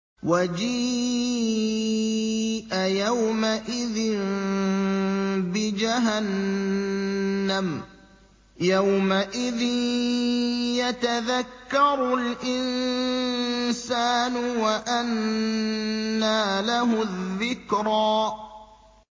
وَجِيءَ يَوْمَئِذٍ بِجَهَنَّمَ ۚ يَوْمَئِذٍ يَتَذَكَّرُ الْإِنسَانُ وَأَنَّىٰ لَهُ الذِّكْرَىٰ